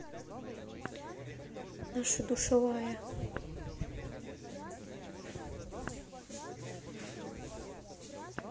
наша душевая